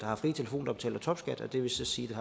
har fri telefon der betaler topskat og det vil så sige